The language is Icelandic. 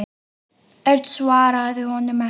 Örn svaraði honum ekki.